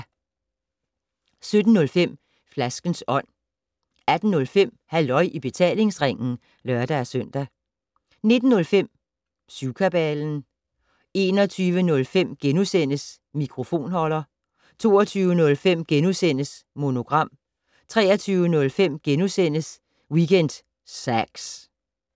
17:05: Flaskens Ånd 18:05: Halløj i betalingsringen (lør-søn) 19:05: Syvkabalen 21:05: Mikrofonholder * 22:05: Monogram * 23:05: Weekend Sax *